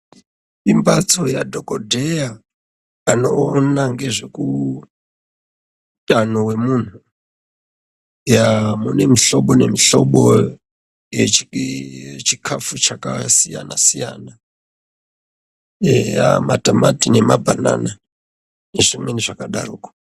Imbatso ya dhokodheya ano ona ngezveku utano hwe munhu yaa mune mushobo ne mushobo ye chikafu chaka siyana siyana eya matomati nema bhanana ne zvimweni zvaka daroko.